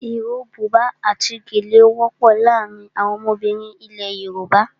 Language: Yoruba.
Iro, buba àti gèlè wọ́pọ̀ láàárín àwọn ọmọbìnrin ilẹ̀ Yorùbá.